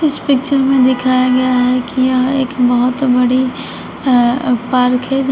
इस पिक्चर में दिखाया गया है कि यह एक बहुत बड़ी अह पार्क है यहां--